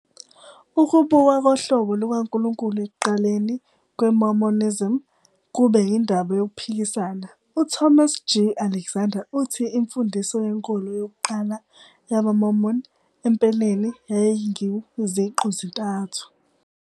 Ukubukwa kohlobo lukaNkulunkulu ekuqaleni kweMormonism kube yindaba yokuphikisana. UThomas G. Alexander uthi imfundiso yenkolo yokuqala yamaMormon "empeleni yayinguZiqu-zintathu",